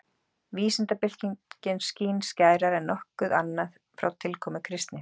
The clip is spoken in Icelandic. Vísindabyltingin skín skærar en nokkuð annað frá tilkomu kristni.